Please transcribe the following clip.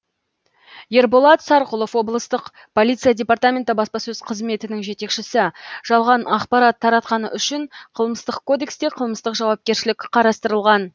ерболат сарқұлов облыстық полиция департаменті баспасөз қызметінің жетекшісі жалған ақпарат таратқаны үшін қылмыстық кодексте қылмыстық жауапкершілік қарастырылған